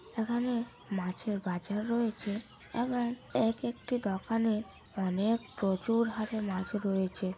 এখানে মাছের বাজার রয়েছে আবার এক একটি দোকানে অনেক প্রচুর হারে মাছ রয়েছে ।